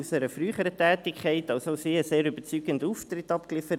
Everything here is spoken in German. Auch sie hat einen sehr überzeugenden Auftritt abgeliefert: